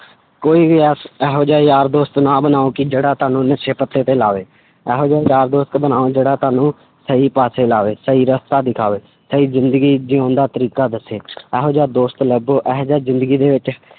ਕੋਈ ਵੀ ਐਸ~ ਇਹੋ ਜਿਹਾ ਯਾਰ ਦੋਸਤ ਨਾ ਬਣਾਓ ਕਿ ਜਿਹੜਾ ਤੁਹਾਨੂੰ ਨਸ਼ੇ ਪੱਤੇ ਤੇ ਲਾਵੇ, ਇਹੋ ਜਿਹਾ ਯਾਰ ਦੋਸਤ ਬਣਾਓ ਜਿਹੜਾ ਤੁਹਾਨੂੰ ਸਹੀ ਪਾਸੇ ਲਾਵੇ, ਸਹੀ ਰਸਤਾ ਦਿਖਾਵੇ ਸਹੀ ਜ਼ਿੰਦਗੀ ਜਿਊਣ ਦਾ ਤਰੀਕਾ ਦੱਸੇ ਇਹੋ ਜਿਹਾ ਦੋਸਤ ਲੱਭੋ ਇਹ ਜਿਹਾ ਜ਼ਿੰਦਗੀ ਦੇ ਵਿੱਚ